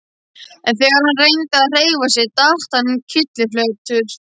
En þegar hann reyndi að hreyfa sig datt hann kylliflatur.